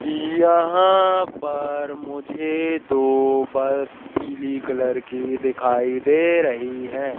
यहाँ पर मुझे दो बल पीली कलर की दिखाई दे रहीं हैं।